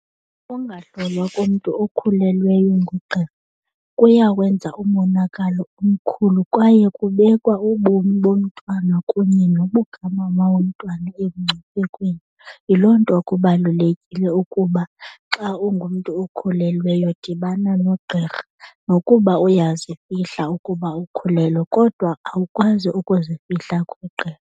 Ukungahlolwa komntu okhulelweyo ngugqirha kuyawenza umonakalo omkhulu kwaye kubekwa ubomi bomntwana kunye nobukamama womntwana emngciphekweni. Yiloo nto kubalulekile ukuba xa ungumntu okhulelweyo dibana nogqirha. Nokuba uyazifihla ukuba ukhulelwe kodwa awukwazi ukuzifihla kugqirha.